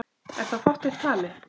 Er þá fátt eitt talið.